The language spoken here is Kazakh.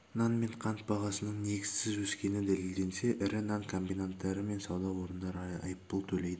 нан мен қант бағасының негізсіз өскені дәлелденсе ірі нан комбинаттары мен сауда орындары айыппұл төлейді